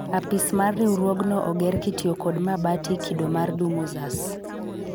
Apis mar riwruogno oger kitiyo kod mabati kido mar dumuzas